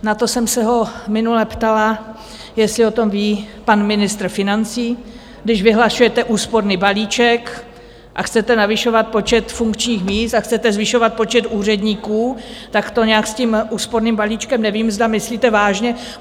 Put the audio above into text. Na to jsem se ho minule ptala, jestli o tom ví pan ministr financí, když vyhlašujete úsporný balíček a chcete navyšovat počet funkčních míst a chcete zvyšovat počet úředníků, tak to nějak s tím úsporným balíčkem nevím, zda myslíte vážně.